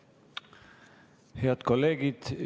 Head kolleegid!